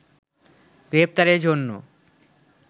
গ্রেপ্তারেরজন্য